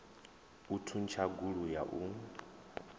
u thuntsha gulu ya u